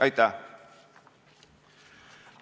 Aitäh!